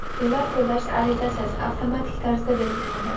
Pullar to‘lash arizasiz, avtomatik tarzda belgilanadi.